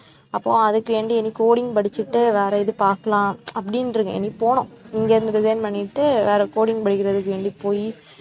அப்போ அதுக்கு வேண்டி இனி coding படிச்சுட்டு வேற இது பார்க்கலாம் அப்படின்னு இருக்கேன், இனி போணும் இங்கே இருந்து resign பண்ணிட்டு வேற coding படிக்கிறதுக்கு வேண்டி போயி